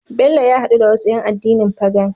Bello ya hadu da wasu yan addinin Pagan